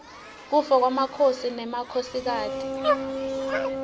kufa kwemakhosi nemakhosikati